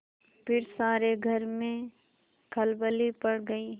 फिर सारे घर में खलबली पड़ गयी